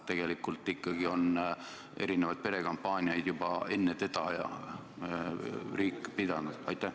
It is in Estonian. Tegelikult on riik ikkagi erinevaid perekampaaniaid pidanud juba ka enne teda.